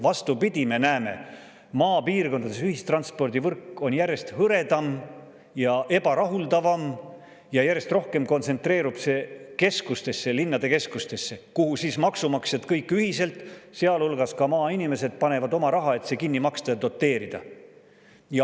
Vastupidi, me näeme, et maapiirkondades on ühistranspordivõrk järjest hõredam ja ebarahuldavam, ja järjest rohkem kontsentreerub see keskustesse, linnade keskustesse, kuhu siis maksumaksjad kõik ühiselt, sealhulgas maainimesed, panevad oma raha, et see kinni maksta ja seda doteerida.